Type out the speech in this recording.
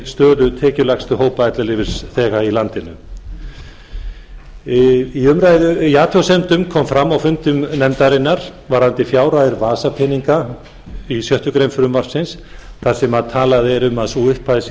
stöðu tekjulægstu hópa ellilífeyrisþega í landinu athugasemdir komu fram á fundi nefndarinnar varðandi fjárhæð vasapeninga í sjöttu greinar frumvarpsins þar sem segir að hún sé allt að tuttugu og átta